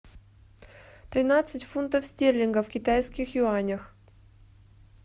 тринадцать фунтов стерлингов в китайских юанях